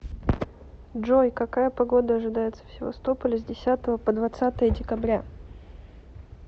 джой какая погода ожидается в севастополе с десятого по двадцатое декабря